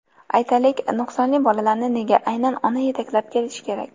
Aytaylik, nuqsonli bolalarni nega aynan ona yetaklab kelishi kerak?